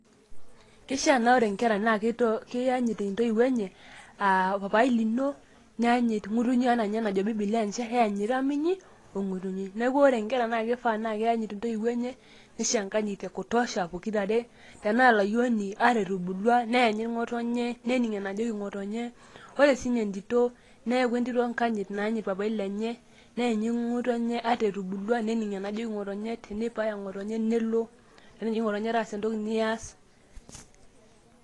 Kishaa na ore inkera na kianyit intoiwuo enye, ah papai lino, nianyut ng'utunyi ena enajo bibilia njere, eanyita minyi o ng'utunyi. Neeku ore nkera na kifaa na keanyit intoiwuo enye, nisho enkanyit ekutosha pokirare. Tenaa olayieni, ata etubulua neanyit ng'otonye, nening' enajoki ng'otonye. Ore sinye entito, neekun entito enkanyit naanyit papai lenye, neenyit ng'otonye ata etubulua. Nening' enajoki ng'otonye, teneipaaya ng'otonye nelo. Eneji ng'otonye taasa entoki nias.